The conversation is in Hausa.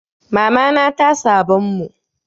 Mamana ta sabon mun.